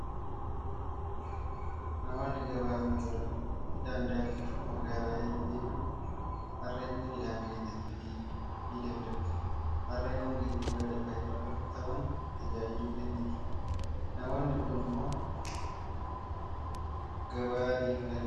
Namoonni gabaa, motora midhaan daakuu fi magaalaa yeroo deeman harreetti midhaan fe'atanii adeemuu ni danda'u. Harreen kun geejjiba lafa irraa ta'uun tajaajila kenniti. Namoonni kun immoo gabaa adeemaa kan jiranidha.